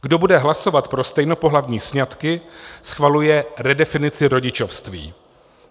Kdo bude hlasovat pro stejnopohlavní sňatky, schvaluje redefinici rodičovství.